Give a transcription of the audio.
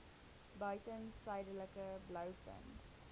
buiten suidelike blouvin